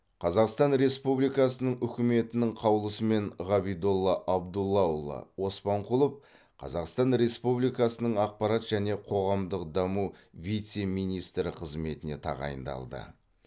қазақстан республикасының үкіметінің қаулысымен ғабидолла абдуллаұлы оспанқұлов қазақстан республикасының ақпарат және қоғамдық даму вице министрі қызметіне тағайындалды